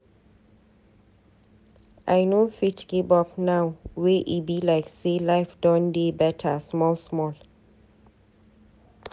I no fit give up now wey e be like say life don dey beta small small.